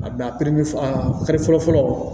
A bila a kari fɔlɔ fɔlɔ